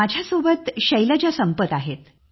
माझ्यासोबत शैलजा संपत आहेत